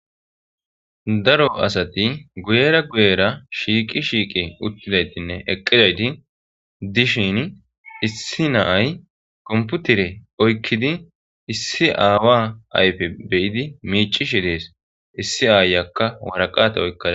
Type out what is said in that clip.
Daro asati guyera guyera shiiqi shiiqi uttidaytinne eqqidayti dishin issi na'ay komputire oykkidi issi aawa ayfe beyidi miicishi dees issi aayakka waraqate oykkad.